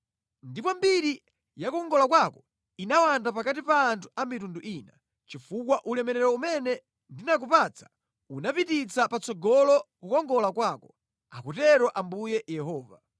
Ndipo mbiri ya kukongola kwako inawanda pakati pa anthu a mitundu ina, chifukwa ulemerero umene ndinakupatsa unapititsa patsogolo kukongola kwako, akutero Ambuye Yehova.